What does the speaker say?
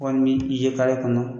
Wɔl ni i ye kɔnɔ